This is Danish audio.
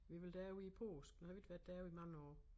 Vi ville derover i æ påske har vi ikke været derovre i mange år